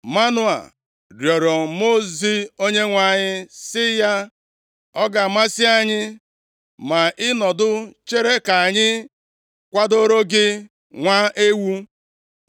Manoa rịọrọ Mmụọ ozi Onyenwe anyị si ya, “Ọ ga-amasị anyị ma ị nọdụ chere ka anyị kwadoro gị nwa ewu.”